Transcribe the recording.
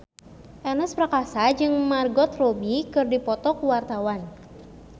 Ernest Prakasa jeung Margot Robbie keur dipoto ku wartawan